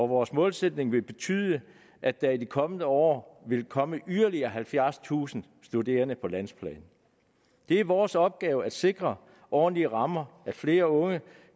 vores målsætning vil betyde at der i de kommende år vil komme yderligere halvfjerdstusind studerende på landsplan det er vores opgave at sikre ordentlige rammer flere unge